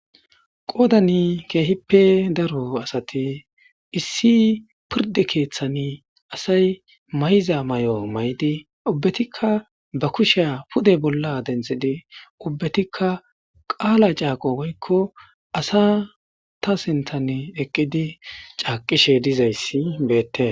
Qoodanii keehippe daro asathi issi pirdde keeththani asay mayiza may7o may7di ubbethikka ba kusheya pude bolla denththide ubbethikka qaala caaqo goykko asatha sinththanii eqqidi caaqqishe dizayssi beeththee.